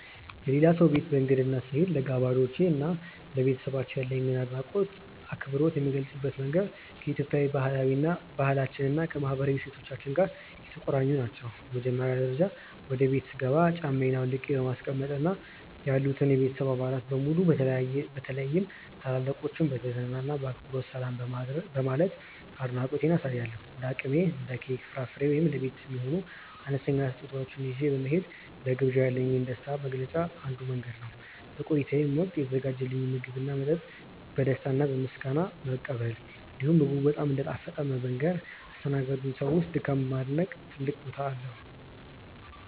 የሌላ ሰው ቤት በእንግድነት ስሄድ፣ ለጋባዤ እና ለቤተሰባቸው ያለኝን አድናቆትና አክብሮት የምገልጽባቸው መንገዶች ከኢትዮጵያዊ ባህላችን እና ከማህበራዊ እሴቶቻችን ጋር የተቆራኙ ናቸው። በመጀመሪያ ደረጃ፣ ወደ ቤቱ ስገባ ጫማዬን አውልቄ በማስቀመጥ እና ያሉትን የቤተሰብ አባላት በሙሉ በተለይም ታላላቆችን በትህትና እና በአክብሮት ሰላም በማለት አድናቆቴን አሳያለሁ። እንደ አቅሜ እንደ ኬክ፣ ፍራፍሬ ወይም ለቤት የሚሆን አነስተኛ ስጦታ ይዤ መሄድም ለግብዣው ያለኝን ደስታ መግለጫ አንዱ መንገድ ነው። በቆይታዬም ወቅት የተዘጋጀልኝን ምግብና መጠጥ በደስታ እና በምስጋና መቀበል፣ እንዲሁም ምግቡ በጣም እንደጣፈጠ በመንገር ያስተናገዱኝን ሰዎች ድካም ማድነቅ ትልቅ ቦታ አለው።